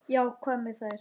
Já, hvað með þær?